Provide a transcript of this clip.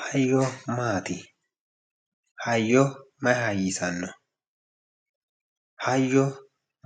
Hayyo maati, hayyo mayi hayyisano, hayyo